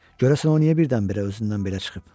Görəsən o niyə birdən-birə özündən belə çıxıb?